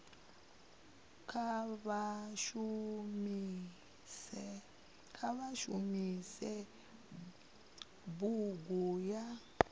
kha vha shumise bunga la